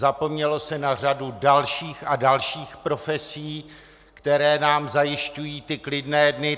Zapomnělo se na řadu dalších a dalších profesí, které nám zajišťují ty klidné dny.